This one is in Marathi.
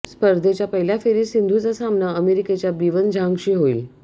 स्पर्धेच्या पहिल्या फेरीत सिंधूचा सामना अमेरिकेच्या बीवन झांगशी होईल